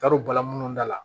T'a dɔn baga munnu da la